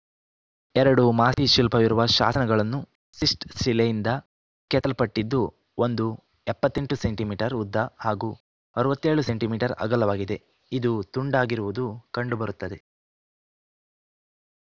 ಎರಡು ಮಾಸ್ತಿ ಶಿಲ್ಪವಿರುವ ಶಾಸನಗಳನ್ನು ಸಿಸ್ಟ್‌ ಶಿಲೆಯಿಂದ ಕೆತ್ತಲ್ಪಟ್ಟಿದ್ದು ಒಂದು ಎಪ್ಪತ್ತ್ ಎಂಟು ಸೆಂಟಿ ಮೀಟರ್ ಉದ್ದ ಹಾಗೂ ಅರವತ್ತ್ ಏಳು ಸೆಂಟಿ ಮೀಟರ್ ಅಗಲವಾಗಿದೆ ಇದು ತುಂಡಾಗಿರುವುದು ಕಂಡು ಬರುತ್ತದೆ